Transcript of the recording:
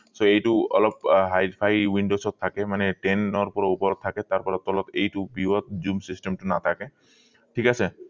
so এইটো অলপ high phi windows ত থাকে মানে পৰা ওপৰত থাকে তাৰ পৰা তলত এইটো view ত zoom system টো নাথাকে ঠিক আছে